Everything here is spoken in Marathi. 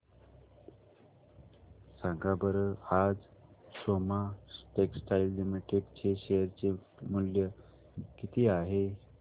सांगा बरं आज सोमा टेक्सटाइल लिमिटेड चे शेअर चे मूल्य किती आहे